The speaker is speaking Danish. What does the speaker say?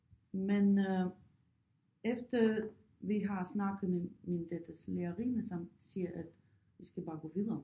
Men øh efter vi har snakket med min datters lærerinde som siger at vi skal bare gå videre